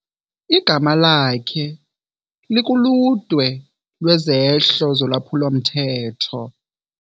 Igama lakhe likuludwe lwezehlo zolwaphulo-mthetho.